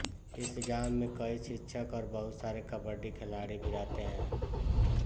इस गाँव मे कई शिक्षक और बहुत सारे कबड्डी खिलाड़ी भी रहते है